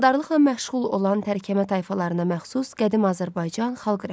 Maldarlıqla məşğul olan tərəkəmə tayfalarına məxsus qədim Azərbaycan xalq rəqsi.